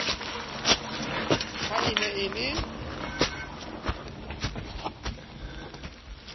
ha e ne e le